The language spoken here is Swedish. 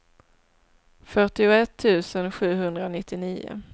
fyrtioett tusen sjuhundranittionio